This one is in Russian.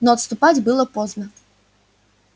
но отступать было поздно